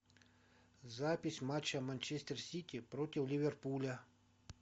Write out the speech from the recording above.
запись матча манчестер сити против ливерпуля